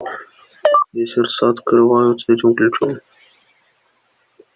все сердца открываются этим ключом